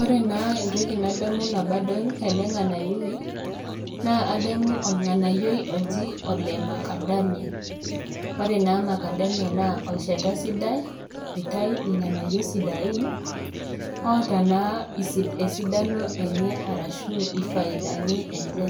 Ore naa entoki nadamu nabadol ele ng'anayioi naa ademu olng'anayioi oji ole macadamia ore naa macadamia naa olchata sidai oitai ilng'anayio sidain oota naa isi esidano enye arashu ifaidani enche